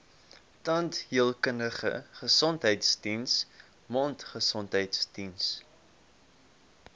tandheelkundige gesondheidsdiens mondgesondheidsdiens